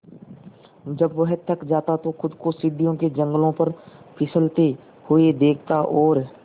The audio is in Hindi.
जब वह थक जाता तो खुद को सीढ़ियों के जंगले पर फिसलते हुए देखता और